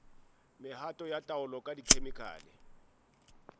mehato ya taolo ka dikhemikhale